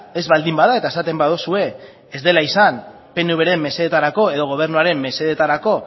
ez baldin bada eta esaten baduzue ez dela izan pnvren mesedetarako edo gobernuaren mesedetarako